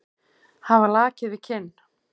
Hafa lakið við kinn.